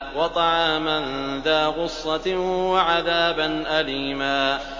وَطَعَامًا ذَا غُصَّةٍ وَعَذَابًا أَلِيمًا